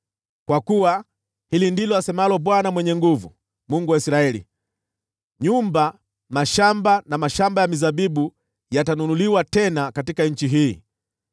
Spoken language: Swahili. Kwa kuwa hili ndilo asemalo Bwana Mwenye Nguvu Zote, Mungu wa Israeli: Nyumba, mashamba na mashamba ya mizabibu yatanunuliwa tena katika nchi hii.’